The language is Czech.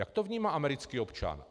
Jak to vnímá americký občan?